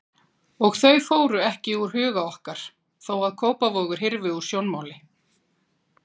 Og þau fóru ekki úr huga okkar þó að Kópavogur hyrfi úr sjónmáli.